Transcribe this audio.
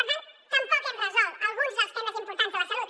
per tant tampoc hem resolt alguns dels temes importants de la salut